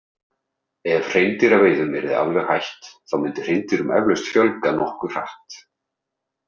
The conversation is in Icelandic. Ef hreindýraveiðum yrði alveg hætt þá myndi hreindýrum eflaust fjölga nokkuð hratt.